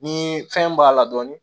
Ni fɛn b'a la dɔɔni